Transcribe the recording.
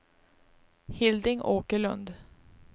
Hilding Åkerlund